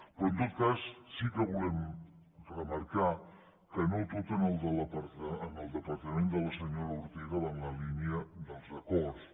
però en tot cas sí que volem remarcar que no tot en el departament de la senyora ortega va en la línia dels acords